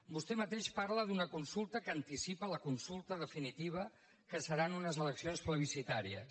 vostè mateix parla d’una consulta que anticipa la consulta definitiva que seran unes eleccions plebiscitàries